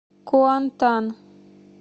куантан